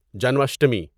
جنم اشٹمی